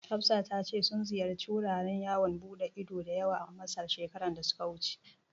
Hafsa ta ce sun ziyarci wuraren yawan buɗe ido da yawa Masar, shekarar da ta wuce.